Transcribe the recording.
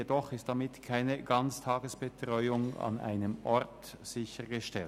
Jedoch ist damit keine Ganztagesbetreuung an einem Ort sichergestellt.